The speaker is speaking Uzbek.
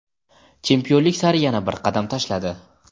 chempionlik sari yana bir qadam tashladi.